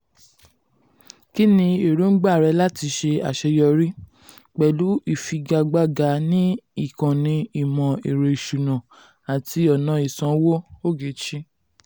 kínni èròǹgbà rẹ láti ṣe àṣeyọrí um pẹ̀lú ìfigagbága ní ìkànnì ìmò ẹ̀rọ ìsúná àti ọ̀nà ìsanwó. ogechi: